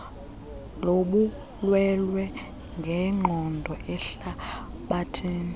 lobulwelwe ngenqondo ehlabathini